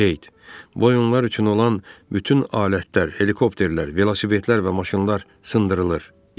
Bu oyunlar üçün olan bütün alətlər, helikopterlər, velosipedlər və maşınlar sındırılır.